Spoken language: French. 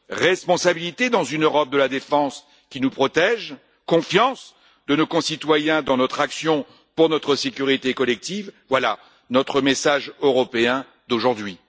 Responsabilité, dans une Europe de la défense qui nous protège, confiance de nos concitoyens dans notre action pour notre sécurité collective, voilà notre message européen d'aujourd'hui.